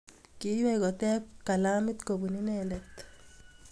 Kiiywei kotep kalamit kobun inendet.